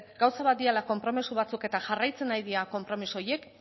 gauza bat direla konpromezu batzuk eta jarraitzen ari dira konpromiso horiek